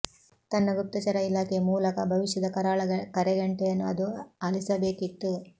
ತನ್ನ ಗುಪ್ತಚರ ಇಲಾಖೆ ಮೂಲಕ ಭವಿಷ್ಯದ ಕರಾಳ ಕರೆಗಂಟೆಯನ್ನು ಅದು ಆಲಿಸಬೇಕಿತ್ತು